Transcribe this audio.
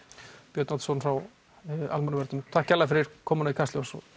Björn Oddsson frá Almannavörnum takk kærlega komuna í Kastljós og